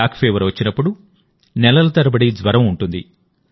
కాలాజార్ వచ్చినప్పుడు నెలల తరబడి జ్వరం ఉంటుంది